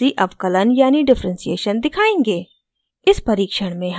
अब हम rc अवकलन यानि differentiation दिखायेंगे